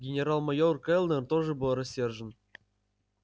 генерал-майор кэллнер тоже был рассержен